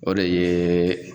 O de ye